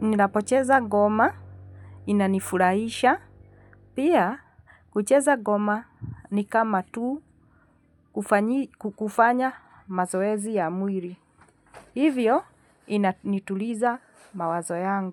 ninapocheza goma inanifurahisha. Pia, kucheza goma ni kama tu kukufanya mazoezi ya mwili. Hivyo, inanituliza mawazo yangu.